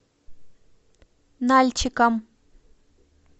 нальчиком